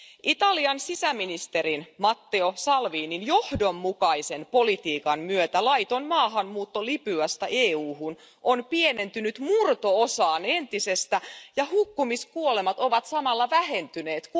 Italian sisäministerin Matteo Salvinin johdonmukaisen politiikan myötä laiton maahanmuutto Libyasta EUhun on pienentynyt murto osaan entisestä ja hukkumiskuolemat ovat samalla vähentyneet.